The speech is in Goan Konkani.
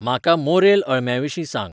म्हाका मोरेल अळम्यांविशीं सांग